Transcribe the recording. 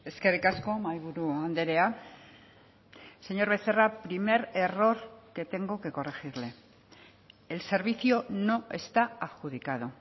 eskerrik asko mahaiburu andrea señor becerra primer error que tengo que corregirle el servicio no está adjudicado